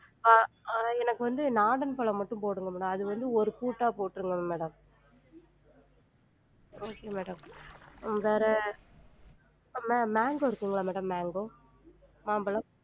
ஆஹ் ஆஹ் எனக்கு வந்து நாடன் பழம் மட்டும் போடுங்க madam அது வந்து ஒரு பூட்டா போற்றுங்க madam okay madam வேற ma~ mango இருக்குங்களா madam mango? மாம்பழம்